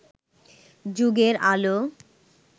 যুগের আলো